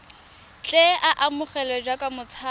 tle a amogelwe jaaka motshabi